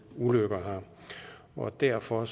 ulykker derfor